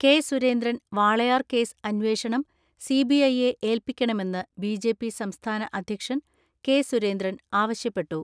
K Surendran Walayar case അന്വേഷണം CBI യെ ഏല്പിക്കണമെന്ന് BJP സംസ്ഥാന അധ്യക്ഷൻ കെ.സുരേന്ദ്രൻ ആവശ്യപ്പെട്ടു.